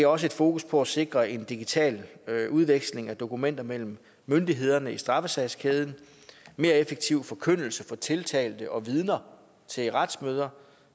også fokus på at sikre en digital udveksling af dokumenter mellem myndighederne i straffesagskæden mere effektiv forkyndelse for tiltalte og vidner til retsmøder